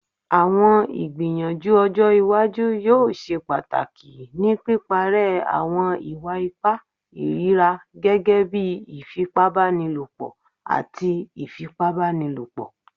Awọn igbiyanju ojo iwaju yoo ṣe pataki ni piparẹ awọn iwa-ipa irira gẹgẹbi ifipabanilopo ati ifipabanilopo